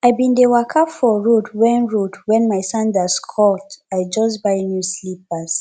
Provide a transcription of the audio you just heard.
i bin dey waka for road wen road wen my sandals cut i just buy new slippers